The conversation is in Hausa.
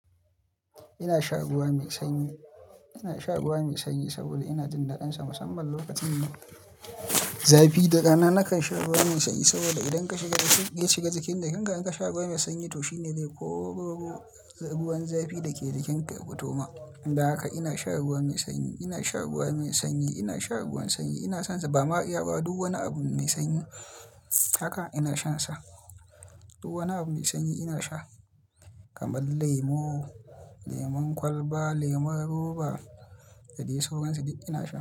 Ina sha ruwa mai sanyi, ina sha ruwa mai sanyi saboda ina jin daɗinsa, musamman lokacin zafi. Da rana nakan sha ruwa mai sanyi saboda idan ka shiga jiki, idan ka sha ruwa mai sanyi, to shine zai koro ruwan zafi da ke jikinka ya fitowa. Don haka ina sha ruwa mai sanyi, ina sha ruwa mai sanyi, ina sha ruwan sanyi. Ina son sa. Ba ma 'yarwa, duk wani abu mai sanyi haka ina shansa. Duk wani abu mai sanyi ina sha kamar lemo, lemon kwalba, lemon roba, da dai sauransu duk ina sha.